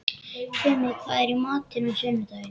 Tumi, hvað er í matinn á sunnudaginn?